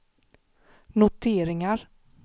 noteringar